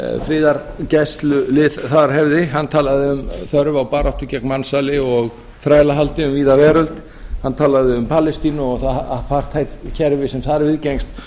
friðargæslulið þar hefði hann talaði um þörf á baráttu gegn mansali og þrælahaldi um víða veröld hann talaði um palestínu og það apartheid kerfi sem þar viðgengst